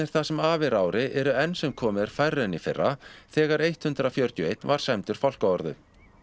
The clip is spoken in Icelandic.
það sem af er ári eru enn sem komið er færri en í fyrra þegar hundrað fjörutíu og eitt var sæmdur fálkaorðu